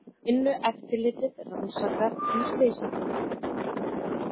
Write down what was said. Vinnueftirlitið rannsakar nú slysið